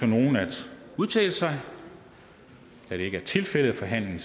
nogen at udtale sig da det ikke er tilfældet er forhandlingen